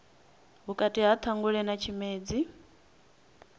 vhukati ha ṱhangule na tshimedzi